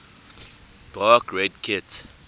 dark red kit